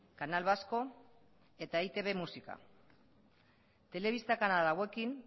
canal vasco eta e i te be musika telebista kanal hauekin